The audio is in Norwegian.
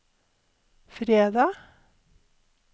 fredag